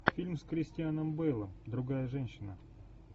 фильм с кристианом бейлом другая женщина